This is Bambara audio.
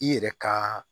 I yɛrɛ ka